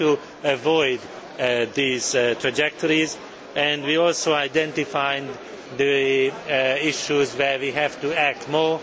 We have to avoid these trajectories and identify the issues requiring further action.